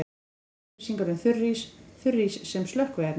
Frekari upplýsingar um þurrís: Þurrís sem slökkviefni.